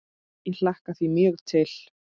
Ég hlakka því mjög til.